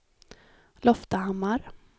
Loftahammar